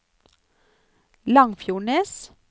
Langfjordnes